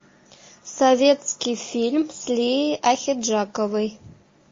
советский фильм с лией ахеджаковой